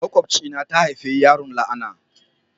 Makobcia na ta haifi yaro la'ana.